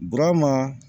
Burama